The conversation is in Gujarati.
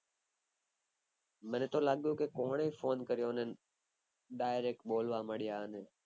મને તો લાગ્ય કે કોને phone કર્યો એમ